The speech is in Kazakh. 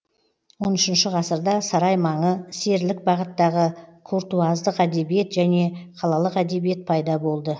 он үшінші ғасырда сарай маңы серілік бағыттағы куртуаздық әдебиет және қалалық әдебиет пайда болды